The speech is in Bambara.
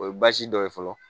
O ye baasi dɔ ye fɔlɔ